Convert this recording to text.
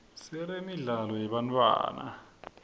siremidlalo yebantfwana